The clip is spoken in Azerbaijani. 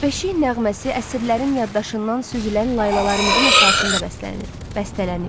Beşik nəğməsi əsrlərin yaddaşından süzülən laylalarımızın əsasında bəslənib.